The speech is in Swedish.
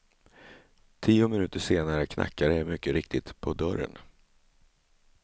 Tio minuter senare knackade det mycket riktigt på dörren.